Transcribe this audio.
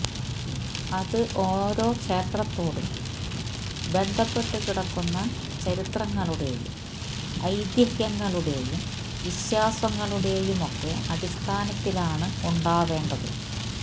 അത് ഓരോ ക്ഷേത്രത്തോടും ബന്ധപ്പെട്ടു കിടക്കുന്ന ചരിത്രങ്ങളുടെയും ഐതിഹ്യങ്ങളുടെയും വിശ്വാസങ്ങളുടെയുമൊക്കെ അടിസ്ഥാനത്തിലാണ് ഉണ്ടാവെണ്ടത്